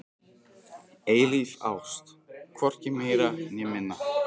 Eilíf ást, hvorki meira né minna.